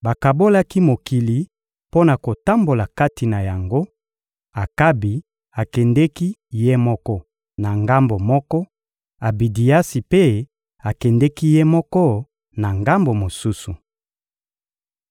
Bakabolaki mokili mpo na kotambola kati na yango, Akabi akendeki ye moko na ngambo moko, Abidiasi mpe akendeki ye moko na ngambo mosusu.